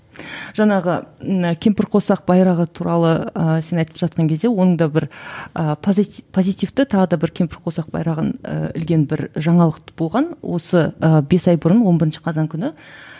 жаңағы мына кемпірқосақ байрағы туралы ыыы сен айтып жатқан кезде оның да бір ыыы позитивті тағы да бір кемпірқосақ байрағын ы ілген бір жаңалық болған осы ы бес ай бұрын он бірінші қазан күні